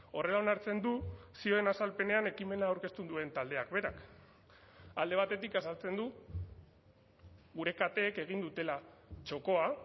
horrela onartzen du zioen azalpenean ekimena aurkeztu duen taldeak berak alde batetik azaltzen du gure kateek egin dutela txokoa